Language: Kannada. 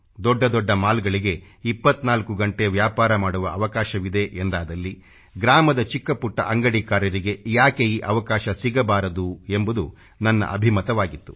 ದೊಡ್ಡ ದೊಡ್ಡ ಮಾಲ್ಗಳಿಗೆ 24 ಗಂಟೆ ವ್ಯಾಪಾರ ಮಾಡುವ ಅವಕಾಶವಿದೆ ಎಂದಾದಲ್ಲಿ ಗ್ರಾಮದ ಚಿಕ್ಕ ಪುಟ್ಟ ಅಂಗಡಿಕಾರರಿಗೆ ಯಾಕೆ ಈ ಅವಕಾಶ ಸಿಗಬಾರದು ಎಂಬುದು ನನ್ನ ಅಭಿಮತವಾಗಿತ್ತು